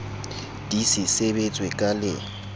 di se sebetswe ka le